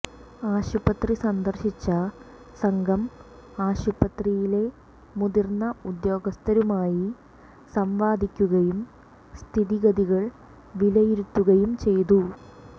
ആശുപത്രി സന്ദര്ശിച്ച സംഘം ആശുപത്രിയിലെ മുതിർന്ന ഉദ്യോഗസ്ഥരുമായി സംവദിക്കുകയും സ്ഥിതിഗതികൾ വിലയിരുത്തുകയും ചെയ്തു